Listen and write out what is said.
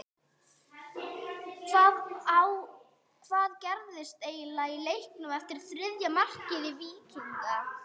Hvað gerðist eiginlega í leiknum eftir þriðja mark Víkinga?